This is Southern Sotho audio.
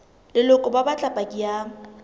leloko ba batla paki ya